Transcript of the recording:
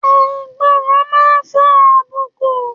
Àìgbọràn máa ń fa àbùkù.